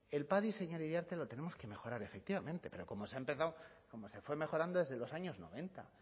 el padi señor iriarte lo tenemos que mejorar efectivamente pero como se ha empezado como se fue mejorando desde los años noventa